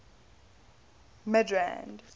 midrand